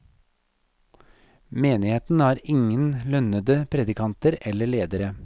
Menigheten har ingen lønnende predikanter eller ledere.